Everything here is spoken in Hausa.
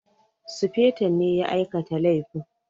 Sufeton ne ya aikata laifin